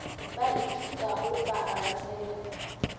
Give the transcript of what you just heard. ba ithutago ba a ratega